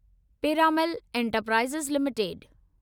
Piramal enterprises limited